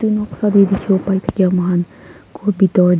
noksa te dikhi wo pai thakia moi khan ghor pitor te.